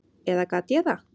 Eða gat ég það?